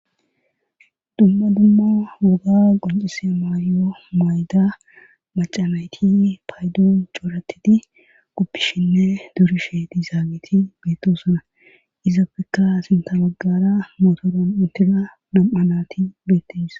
Dumma dumma woga qoncise maayyo mayda macamayti paydoon cooratidi kuppishinne durishe dizaaniti beettosona izappekka sinta magara motoron intida nam7anati beettis.